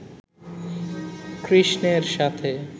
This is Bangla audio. কৃষ্ণের সাথে